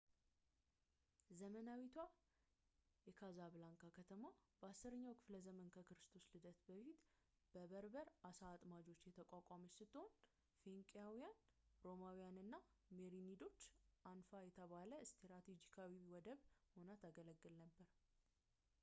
ዘመናዊቷ የካዛብላንካ ከተማ በ 10 ኛው ክ / ዘ ከክርስቶስ ልደት በፊት በበርበር አሳ አጥማጆች የተቋቋመች ስትሆን ፊንቄያውያን ፣ ሮማውያን እና ሜሬኒዶች አንፋ የተባለ ስትራቴጂካዊ ወደብ ሆና ታገለግል ነበር